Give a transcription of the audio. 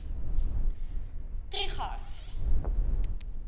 trigardt